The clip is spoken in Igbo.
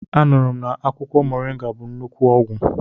Anụrụ na akwụkwọ moringa bụ nnukwu ọgwụ.